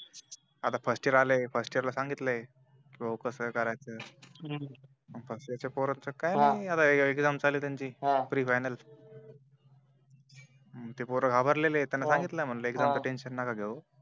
आता first year आलाय first year ला सांगितलं आहे कि भो कस करायचं फर्स्ट इयर च काही नाही आता एक्साम चालू आहे त्याची प्री फायनल ते पोर घाबरलेला आहे सांगितलं त्याना कि एक्साम टेंशन नका घेऊ